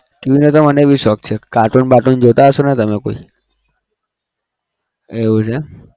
TV નો તો મને બી શોખ છે cartoon બાર્ટૂન જોતા હશે ને તમે કોઈ એવું છે એમ